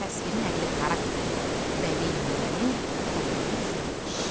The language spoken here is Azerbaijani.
Təsviri nəqli xarakterli bədii nümunənin təhlili üzrə iş.